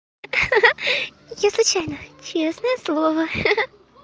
ха-ха я случайно честное слово ха-ха